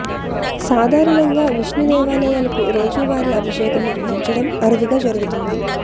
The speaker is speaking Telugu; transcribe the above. సాధారణంగా విష్ణు దేవాలయాలకు రోజు వారి అభిషేకం నిర్వహించడం అరుదుగా జరుగుతుంది